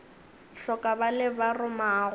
hloka ba le ba romago